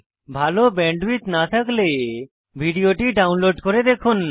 ভাল ব্যান্ডউইডথ না থাকলে ভিডিওটি ডাউনলোড করে দেখুন